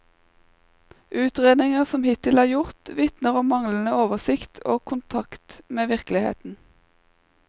Utredninger som hittil er gjort, vitner om manglende oversikt og kontakt med virkeligheten.